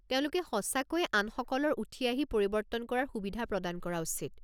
তেওঁলোকে সঁচাকৈয়ে আনসকলৰ উঠি আহি পৰিৱৰ্তন কৰাৰ সুবিধা প্ৰদান কৰা উচিত।